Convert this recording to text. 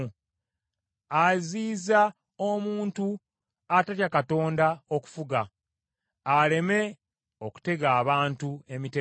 aziyiza omuntu atatya Katonda okufuga, aleme okutega abantu emitego.